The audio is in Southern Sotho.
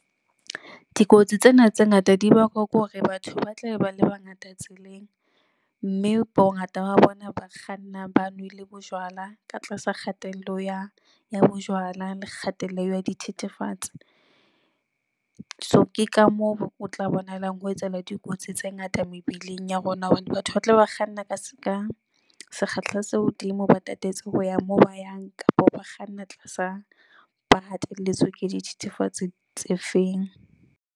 Dikotsi tsena tse ngata di bakwa ke hore batho ba tlabe ba le bangata tseleng, mme bongata ba bona ba kganna ba nwele bojwala ka tlasa kgatello ya bojwala le kgatello ya dithethefatsi. So ke ka moo o tla bonahalang ho etsahala dikotsi tse ngata mebileng ya rona. Hobane batho ba tla be ba kganna ka se ka sekgahla se hodimo, ba tatetse ho ya moo ba yang kapa ba kganna tlasa ba hatelletswe ke dithethefatsi tse feng.